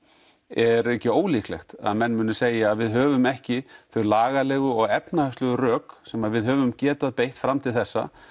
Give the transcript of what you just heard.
er ekki ólíklegt að menn muni segja að við höfum ekki þau lagalegu og efnahagslegu rök sem við höfum getað beitt fram til þessa